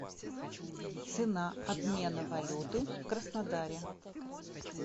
цена обмена валюты в краснодаре